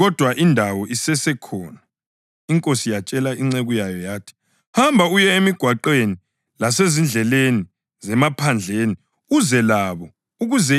Inkosi yatshela inceku yayo yathi, ‘Hamba uye emigwaqweni lasezindleleni zemaphandleni uze labo ukuze indlu yami igcwale.